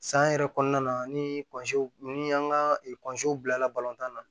San yɛrɛ kɔnɔna na ni ni an ka bilala na